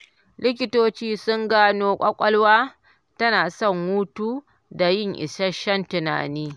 Likitoci sun gano ƙwalƙwalwa tana son hutu don yin isasshen tunani